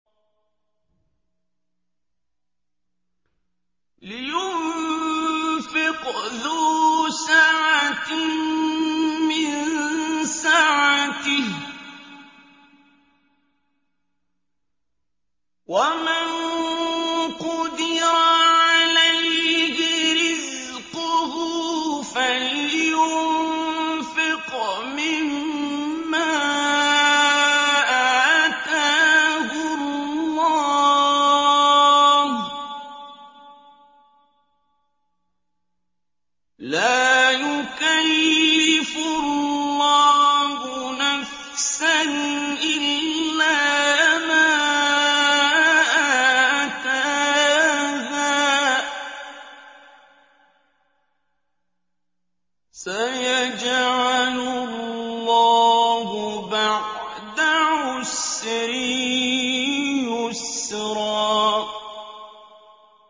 لِيُنفِقْ ذُو سَعَةٍ مِّن سَعَتِهِ ۖ وَمَن قُدِرَ عَلَيْهِ رِزْقُهُ فَلْيُنفِقْ مِمَّا آتَاهُ اللَّهُ ۚ لَا يُكَلِّفُ اللَّهُ نَفْسًا إِلَّا مَا آتَاهَا ۚ سَيَجْعَلُ اللَّهُ بَعْدَ عُسْرٍ يُسْرًا